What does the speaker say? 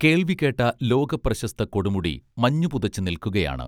കേൾവികേട്ട ലോകപ്രശസ്ത കൊടുമുടി മഞ്ഞുപുതച്ച് നിൽക്കുകയാണ്